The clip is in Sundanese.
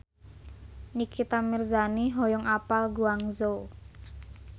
Nikita Mirzani hoyong apal Guangzhou